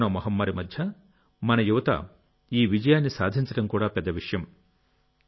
corona మహమ్మారి మధ్య మన యువత ఈ విజయాన్ని సాధించడం కూడా పెద్ద విషయం